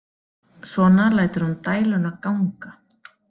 Svona lætur hún dæluna ganga.